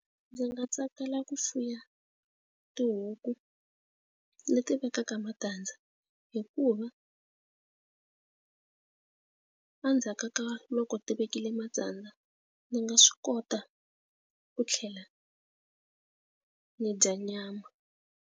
Ndzi nga tsakela ku fuya tihuku leti vekaka matandza hikuva endzhaku ka loko ti vekile matandza ndzi nga swi kota ku tlhela ni dya nyama.